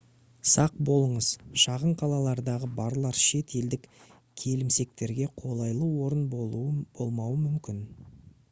сақ болыңыз шағын қалалардағы барлар шет елдік келімсектерге қолайлы орын болмауы мүмкін